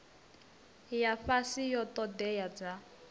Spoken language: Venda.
ya fhasi ya ṱhoḓea dza